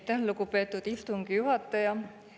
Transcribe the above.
Aitäh, lugupeetud istungi juhataja!